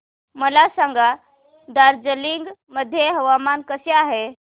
मला सांगा दार्जिलिंग मध्ये हवामान कसे आहे